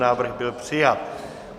Návrh byl přijat.